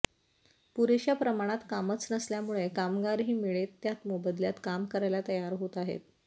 पुरेशा प्रमाणात कामच नसल्यामुळे कामगारही मिळेत त्या मोबदल्यात काम करायला तयार होत आहेत